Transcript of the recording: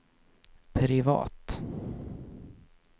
privat